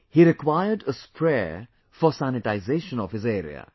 He required a sprayer for sanitization of his area